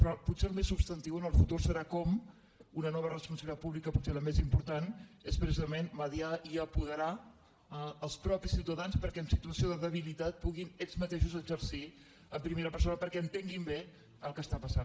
però potser el més substantiu en el futur serà com una nova responsabilitat pública pot·ser la més important és precisament mitjançar i apo·derar els mateixos ciutadans perquè en situació de debilitat puguin ells mateixos exercir en primera per·sona perquè entenguin bé el que està passant